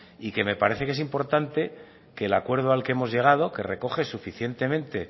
y que me parece es importante que el acuerdo al que hemos llegado que recoge suficientemente